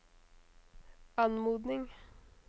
anmodning